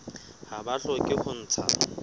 ha ba hloke ho ntsha